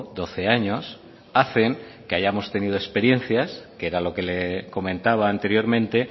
doce años hacen que hayamos tenido experiencia que era lo que le comentaba anteriormente